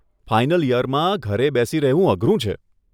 Final ઈયરમાં ઘરે બેસી રહેવું અઘરું છે.